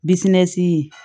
Bisimɛsi